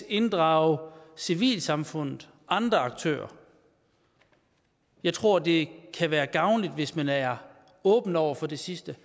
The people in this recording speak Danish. inddrage civilsamfundet og andre aktører jeg tror det kan være gavnligt hvis man er åben over for det sidste